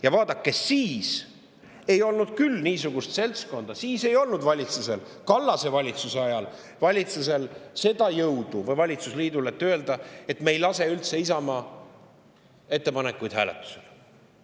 Ja vaadake, siis ei olnud küll niisugust seltskonda, siis ei olnud valitsusel, Kallase valitsusel või valitsusliidul seda jõudu, et öelda, et me ei lase üldse Isamaa ettepanekuid hääletusele.